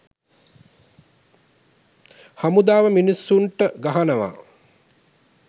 හමුදාව මිනිස්සුන්ට ගහනවා